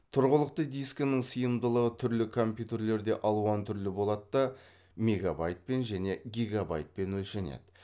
тұрғылықты дискінің сыйымдылығы түрлі компьютерлерде алуан түрлі болады да мегабайтпен және гигабайтпен өлшенеді